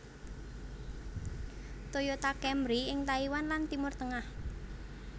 Toyota Camry ing Taiwan lan Timur Tengah